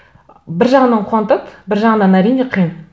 бір жағынан қуантады бір жағынан әрине қиын